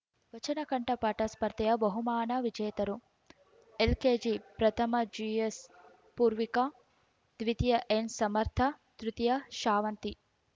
ವಚನಕಂಠಪಾಠ ಸ್ಪರ್ಧೆಯ ಬಹುಮಾನ ವಿಜೇತರು ಎಲ್‌ಕೆಜಿ ಪ್ರಥಮ ಜಿಎಸ್‌ ಪೂರ್ವಿಕಾ ದ್ವಿತೀಯ ಎನ್‌ ಸಮರ್ಥ ತೃತೀಯ ಶಾವಂತಿ